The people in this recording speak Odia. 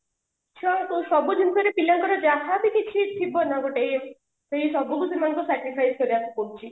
ଛୁଆଙ୍କର ସବୁ ଜିନିଷରେ ପିଲାଙ୍କର ଯାହାବି କିଛି ଥିବ ନା ଗୋଟେ ସେଇ ସବୁ କିଛି ତାଙ୍କୁ sacrifice କରିବା କୁ ପଡୁଛି